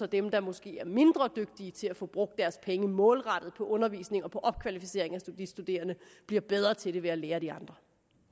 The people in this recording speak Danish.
dem der måske er mindre dygtige til at få brugt deres penge målrettet på undervisning og på opkvalificering af de studerende bliver bedre til det ved at lære af de andre